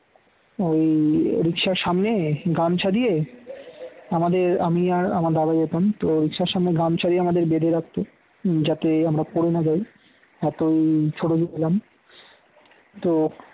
ওই রিক্সার সামনে গামছা দিয়ে আমাদের আমি আর আমার দাদা যেতাম তো সবসময় গামছা দিয়ে আমাদের বেঁধে রাখত যাতে আমরা পড়ে না যাই এতই ছোট ছিলাম তো